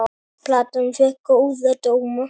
Platan fékk góða dóma.